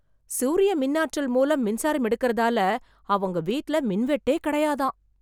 சூரிய மின் ஆற்றல் மூலம் மின்சாரம் எடுக்கறதால அவங்க வீட்ல மின்வெட்டே கிடையாதாம்.